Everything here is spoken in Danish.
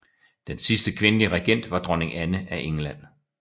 Den sidste kvindelige regent var dronning Anne af England